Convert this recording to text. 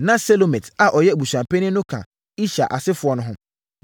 Na Selomit a ɔyɛ abusuapanin no ka Ishar asefoɔ no ho.